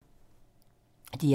DR2